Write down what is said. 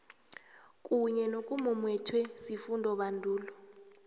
kunye nokumumethwe sifundobandulo